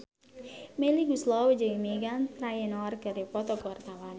Melly Goeslaw jeung Meghan Trainor keur dipoto ku wartawan